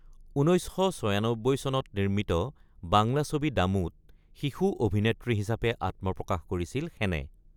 ১৯৯৬ চনত নিৰ্মিত বাংলা ছবি দামু ত শিশু অভিনেত্ৰী হিচাপে আত্মপ্ৰকাশ কৰিছিল সেনে।